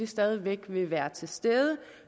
stadig væk vil være til stede